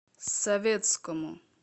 советскому